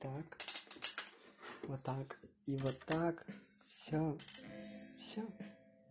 так вот так и вот так всё всё